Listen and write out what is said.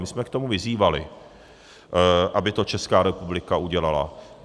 My jsme k tomu vyzývali, aby to Česká republika udělala.